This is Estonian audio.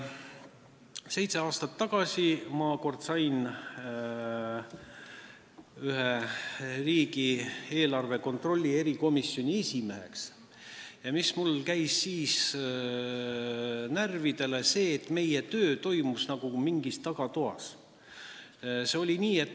Seitse aastat tagasi sain ma riigieelarve kontrolli erikomisjoni esimeheks ja mulle käis siis närvidele, et meie töö toimus nagu mingis tagatoas.